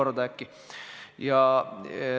Millega peaksid eri osapooled selles kontekstis arvestama?